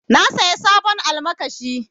Na saya sabon almakashi.